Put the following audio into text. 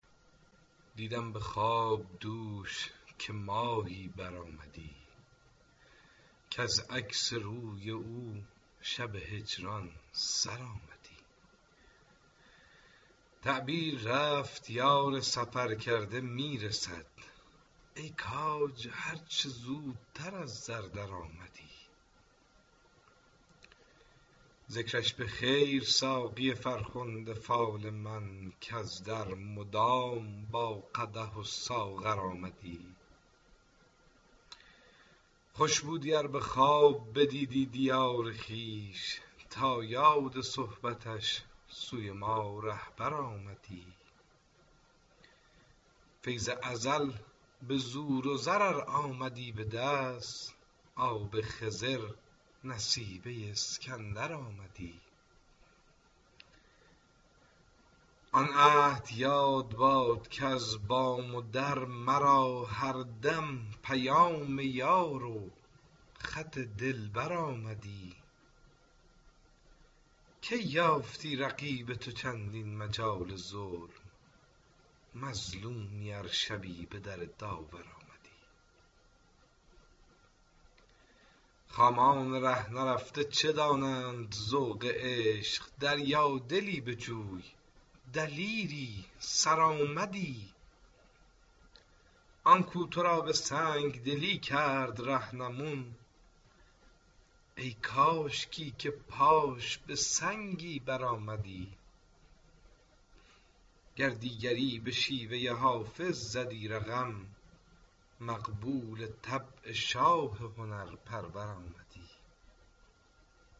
دیدم به خواب دوش که ماهی برآمدی کز عکس روی او شب هجران سر آمدی تعبیر رفت یار سفرکرده می رسد ای کاج هر چه زودتر از در درآمدی ذکرش به خیر ساقی فرخنده فال من کز در مدام با قدح و ساغر آمدی خوش بودی ار به خواب بدیدی دیار خویش تا یاد صحبتش سوی ما رهبر آمدی فیض ازل به زور و زر ار آمدی به دست آب خضر نصیبه اسکندر آمدی آن عهد یاد باد که از بام و در مرا هر دم پیام یار و خط دلبر آمدی کی یافتی رقیب تو چندین مجال ظلم مظلومی ار شبی به در داور آمدی خامان ره نرفته چه دانند ذوق عشق دریادلی بجوی دلیری سرآمدی آن کو تو را به سنگ دلی کرد رهنمون ای کاشکی که پاش به سنگی برآمدی گر دیگری به شیوه حافظ زدی رقم مقبول طبع شاه هنرپرور آمدی